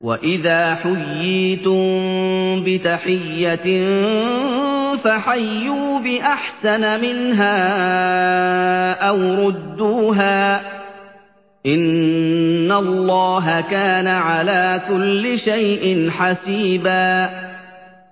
وَإِذَا حُيِّيتُم بِتَحِيَّةٍ فَحَيُّوا بِأَحْسَنَ مِنْهَا أَوْ رُدُّوهَا ۗ إِنَّ اللَّهَ كَانَ عَلَىٰ كُلِّ شَيْءٍ حَسِيبًا